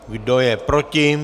Kdo je proti?